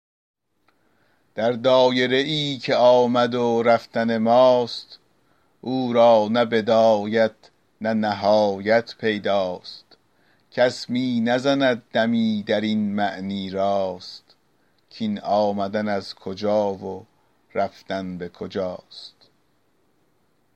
در دایره ای که آمد و رفتن ماست او را نه بدایت نه نهایت پیدا ست کس می نزند دمی در این معنی راست کاین آمدن از کجا و رفتن به کجاست